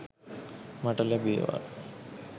මට ලැබේවා.